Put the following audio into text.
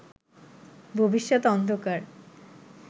ভবিষ্যত অন্ধকার